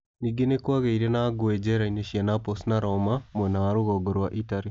Ningĩ nĩ kwagĩire na ngũĩ njera-inĩ cia Naples na Roma, mwena wa rũgongo wa Italy.